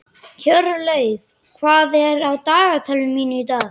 Hjörleif, hvað er á dagatalinu mínu í dag?